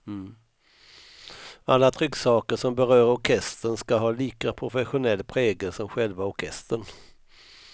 Alla trycksaker som berör orkestern ska ha lika professionell prägel som själva orkestern.